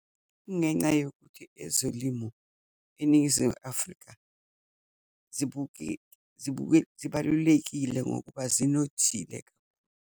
Kungenca yokuthi ezolimo eNingizimu Afrika zibuke zibalulekile ngokuba zinothile.